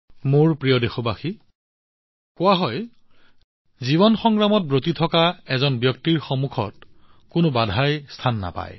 মোৰ মৰমৰ দেশবাসীসকল কোৱা হয় জীৱনৰ সংগ্ৰামত ভুগি থকা এজন ব্যক্তিৰ সন্মুখত আন কোনো বাধাই টিকিব নোৱাৰে